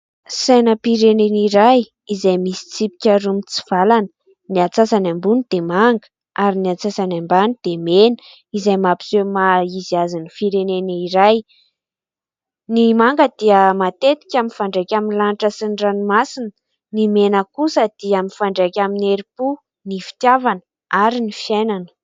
Sainampireneny iray izay misy tsipika roa mitsivalana ny atsasany ambony dia manga, ary ny atsasany ambany dia mena. Izay mampiseho ny maha izy azy ny fireneny iray, ny manga dia matetika mifandraika amin'ny lanitra sy ny ranomasina, ny mena kosa dia mifandraika amin'ny heri-po, ny fitiavana, ary ny fiainana.